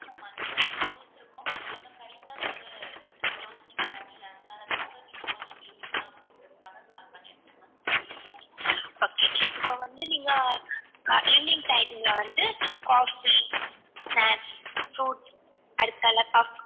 okay இப்போ வந்து நீங்க evening time ல வந்து coffee snacks fruits puffs